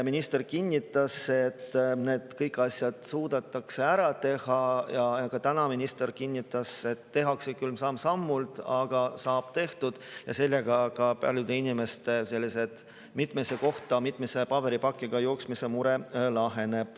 Minister kinnitas, et kõik need asjad suudetakse ära teha, ja ka täna, et tehakse küll samm-sammult, aga saab tehtud, ja sellega laheneb paljude inimeste mitmesse kohta mitme paberipakiga jooksmise mure.